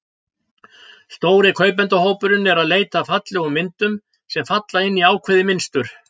Stóri kaupendahópurinn er að leita eftir fallegum myndum, sem falla inn í ákveðið mynstur.